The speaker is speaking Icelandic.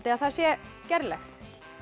að það sé gerlegt